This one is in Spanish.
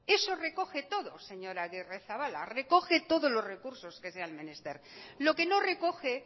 eso recoge todo señor agirrezabala recoge todos los recursos que sean menester lo que no recoge